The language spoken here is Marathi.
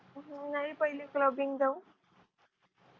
नाही पहिले clubbing जाऊ